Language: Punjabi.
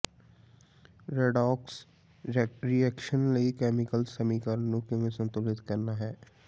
ਰੈੱਡੋਕਸ ਰੀਐਕਸ਼ਨ ਲਈ ਕੈਮੀਕਲ ਸਮੀਕਰਨ ਨੂੰ ਕਿਵੇਂ ਸੰਤੁਲਿਤ ਕਰਨਾ ਹੈ